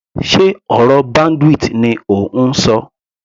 Sé ọ̀rọ̀ bandwidth ni ò ń ṣọ.